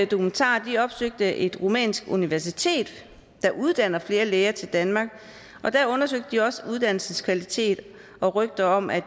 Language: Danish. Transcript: dokumentaren opsøgte et rumænsk universitet der uddanner flere læger til danmark og der undersøgte de også uddannelseskvalitet og rygter om at